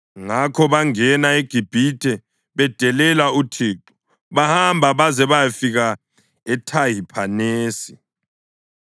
Ngakho bangena eGibhithe bedelela uThixo, bahamba baze bayafika eThahiphanesi.